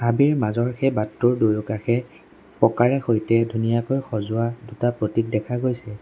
ছবিৰ মাজৰ সেই বাটটোৰ দুয়োকাষে পকাৰে সৈতে ধুনীয়াকৈ সজোৱা দুটা প্ৰতিক দেখা গৈছে।